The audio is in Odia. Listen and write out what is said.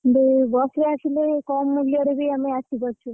ହେଲେ ବସ ରେ ଆସିଲେବି କମ୍ ମୂଲ୍ୟରେ ବି ଆମେ ଆସି ପାରୁଛୁ।